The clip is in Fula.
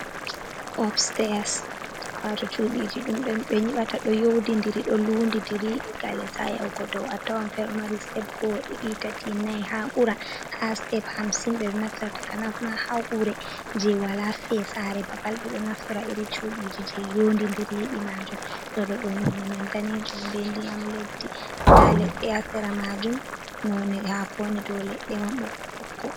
Op stairs waato cuɗi ji ɗum ɗo ɓe nyiɓata ɗo nyodi-ndiri ɗo lundi dirii daga les ha yahugo dow atawan fere ɗo mari step go'o, ɗiɗi, tati, nai ha ɓura ha step hamsin ɓeɗo naftora takanas ma gure je wala fesare babal ɓeɗo naftora irin cudiji je yondi diri yiɗde majum ɗoɗo no ni man danejum be ndiyam leddi nda leɗɗe ha sera majum noni hakoni ɗo leddi man ɓokko-ɓokko.